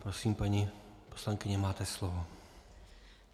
Prosím, paní poslankyně, máte slovo.